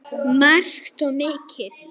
Margt og mikið.